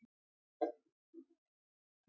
Eins villti þar um menn.